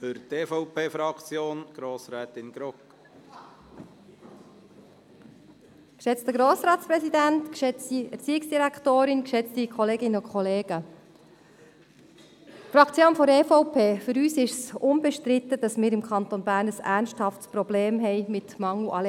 Für die Fraktion der EVP ist es unbestritten, dass wir im Kanton Bern aufgrund des Mangels an Lehrkräften ein ernsthaftes Problem haben.